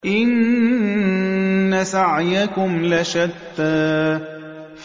إِنَّ سَعْيَكُمْ لَشَتَّىٰ